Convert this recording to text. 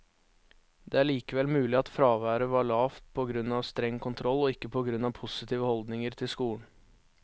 Det er likevel mulig at fraværet var lavt på grunn av streng kontroll, og ikke på grunn av positive holdninger til skolen.